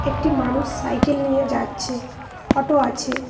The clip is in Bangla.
একটি মানুষ সাইকেল নিয়ে যাচ্ছে অটো আছে।